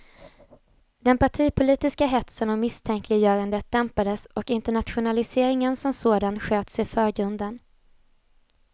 Den partipolitiska hetsen och misstänkliggörandet dämpades och internationaliseringen som sådan sköts i förgrunden.